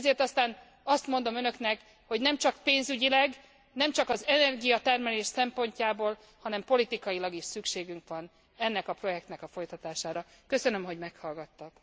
Ezért aztán azt mondom Önöknek, hogy nemcsak pénzügyileg, nemcsak az energiatermelés szempontjából, hanem politikailag is szükségünk van ennek a projektnek a folytatására. Köszönöm, hogy meghallgattak.